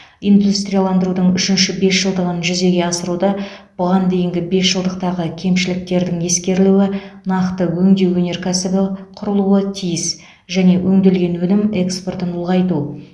индустрияландырудың үшінші бесжылдығын жүзеге асыруда бұған дейінгі бесжылдықтағы кемшіліктер ескерілуі нақты өңдеу өнеркәсібі құрылуы тиіс және өңделген өнім экспортын ұлғайту